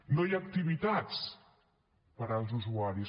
no hi ha activitats per als usuaris